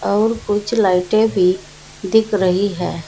और कुछ लाइटें भी दिख रही है।